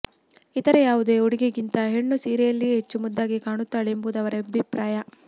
ಇತರೆ ಯಾವುದೇ ಉಡುಗೆಗಿಂತ ಹೆಣ್ಣು ಸೀರೆಯಲ್ಲಿಯೇ ಹೆಚ್ಚು ಮುದ್ದಾಗಿ ಕಾಣುತ್ತಾಳೆ ಎಂಬುದು ಅವರ ಅಭಿಪ್ರಾಯ